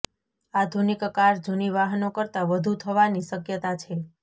આધુનિક કાર જૂની વાહનો કરતાં વધુ થવાની શક્યતા છે